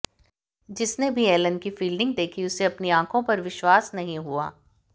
जिसने भी एलेन की फील्डिंग देखी उसे अपनी आंखों पर विश्वास नहीं हुआ